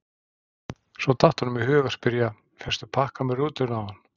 Svo datt honum í hug að spyrja: fékkstu pakka með rútunni áðan?